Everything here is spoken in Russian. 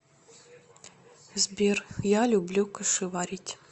сбер я люблю кашеварить